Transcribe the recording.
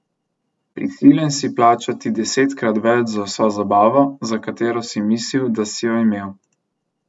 Prisiljen si plačati desetkrat več za vso zabavo, za katero si mislil, da si jo imel.